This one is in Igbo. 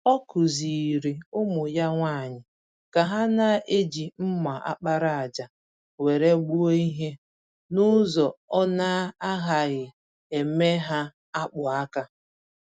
Ọ kụziiri ụmụ ya nwanyị ka ha na-eji mma àkpàràjà were gbuo ìhè, nụzọ ọna agaghị eme ha akpụ-aka.